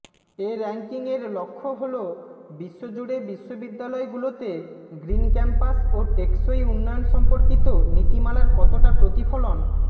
এ র্যাংকিংয়ের লক্ষ্য হলো বিশ্বজুড়ে বিশ্ববিদ্যালয়গুলোতে গ্রিন ক্যাম্পাস ও টেকসই উন্নয়ন সম্পর্কিত নীতিমালার কতোটা প্রতিফলন